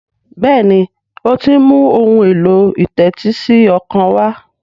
Béèni o tí ń mú Ohun èlò ìtẹ́tísí ọkàn wá.